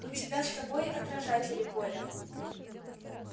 у тебя с собой отражатели поля